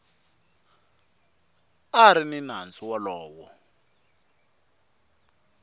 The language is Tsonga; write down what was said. a ri ni nandzu wolowo